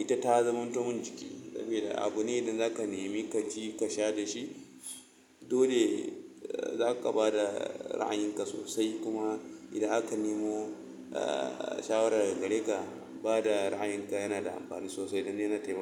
ita ta zamanto mun jiki, sabida abu ne da zaka nemi ka ci, ka sha da shi, dole zaka bada ra'ayin ka sosai. Kuma idan aka nemo shawara daga gare lka, bada ra'ayin ka yana da amfani sosai don yana taimaka.